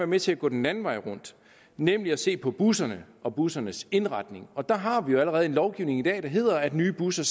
med til at gå den anden vej rundt nemlig at se på busserne og bussernes indretning og der har vi jo allerede en lovgivning i dag der hedder at nye busser